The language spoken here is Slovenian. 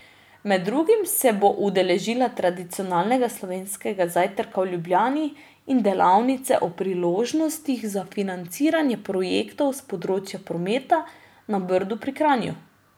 Med drugim se bo udeležila tradicionalnega slovenskega zajtrka v Ljubljani in delavnice o priložnostih za financiranje projektov s področja prometa na Brdu pri Kranju.